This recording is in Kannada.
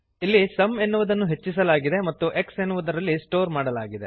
ಇಲ್ಲಿ ಸುಮ್ ಎನ್ನುವುದನ್ನು ಹೆಚ್ಚಿಸಲಾಗಿದೆ ಮತ್ತು x ಎನ್ನುವುದರಲ್ಲಿ ಸ್ಟೋರ್ ಮಾಡಲಾಗಿದೆ